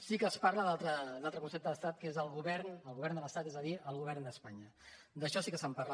sí que es parla d’un altre concepte d’estat que és el govern de l’estat és a dir el govern d’espanya d’això sí que se’n parla